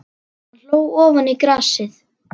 Hann hló ofan í grasið.